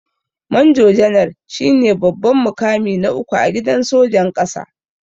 manjo janar shine babban mukami na uku a gidan sojan ƙasa.